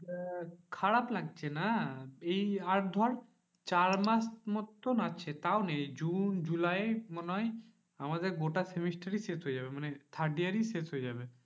আহ খারাপ লাগছে না? এই আর ধর চার মাস মতন আছে তাও নেই জুন জুলাই মনে হয়, আমাদের গোটা semester ই শেষ হয়ে যাবে মানে third year ই শেষ হয়ে যাবে।